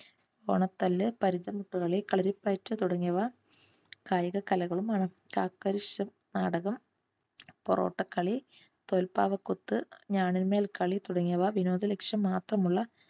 ഓണത്തല്ല് പരിചമുട്ടു കളി കളരിപ്പയറ്റ് തുടങ്ങിയവ കായിക കലകളും ആണ്. കാക്കരശ്ശി നാടകം പൊറോട്ട കളി തോൽപ്പാവക്കൂത്തു ഞാണിന്മേൽ കളി തുടങ്ങിയവ വിനോദ ലക്‌ഷ്യം മാത്രമുള്ള